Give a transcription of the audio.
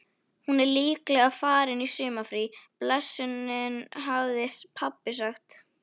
Hún er líklega farin í sumarfrí blessunin hafði pabbi sagt.